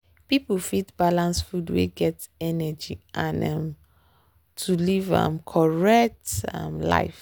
people fit balance food wey get energy and oil um to live um correct um life.